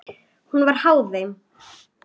Hún var háð þeim.